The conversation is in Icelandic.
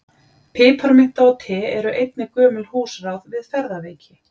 Piparmynta og te eru einnig gömul húsráð við ferðaveiki.